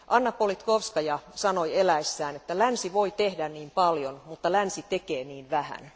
Anna Politkovskaja sanoi eläessään, että länsi voi tehdä niin paljon, mutta länsi tekee niin vähän.